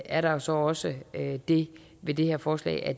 er der så også det ved det her forslag at